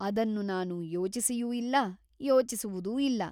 ಅದನ್ನು ನಾನು ಯೋಚಿಸಿಯೂ ಇಲ್ಲ ಯೋಚಿಸುವುದೂ ಇಲ್ಲ.